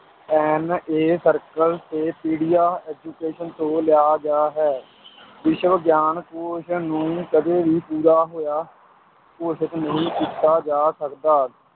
circle ਤੇ ਪੀਡੀਆ education ਤੋਂ ਲਿਆ ਗਿਆ ਹੈ ਵਿਸ਼ਵਗਿਆਨ ਕੋਸ਼ ਨੂੰ ਕਦੇ ਵੀ ਪੂਰਾ ਹੋਇਆ ਘੋਸ਼ਿਤ ਨਹੀਂ ਕੀਤਾ ਜਾ ਸਕਦਾ